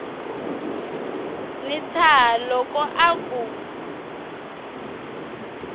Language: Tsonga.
wi tshaha loko a ku